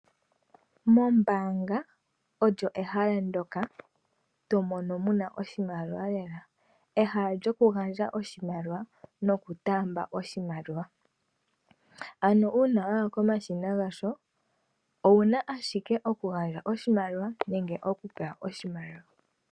Ombaanga oyo ehala ndoka tomono muna oshimaliwa lela ehala lyoku gandja oshimaliwa noku taamba oshimaliwa, ano uuna waya komashina galyo owuna ashike oku gandja oshimaliwa nenge okupewa oshimaliwa.